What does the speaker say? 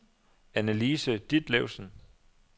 Anne-Lise Ditlevsen